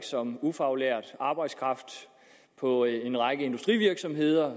som ufaglært arbejdskraft på en række industrivirksomheder